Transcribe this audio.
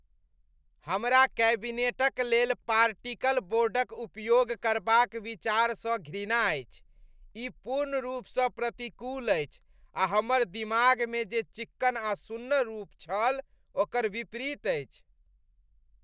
हमरा कैबिनेटक लेल पार्टिकल बोर्डक उपयोग करबाक विचारसँ घृणा अछि। ई पूर्ण रूपसँ प्रतिकूल अछि आ हमर दिमागमे जे चिक्कन आ सुन्नर रूप छल ओकर विपरीत अछि।